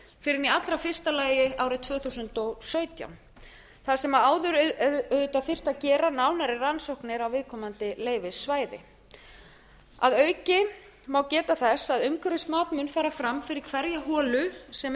en í allra fyrsta ári árið tvö þúsund og sautján þar sem áður auðvitað þyrfti að gera nánari rannsóknir á viðkomandi leyfissvæði að auki má geta þess að umhverfismat mun fara fram fyrir hverja holu sem er boruð